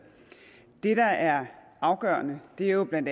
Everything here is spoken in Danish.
det der er afgørende er jo bla at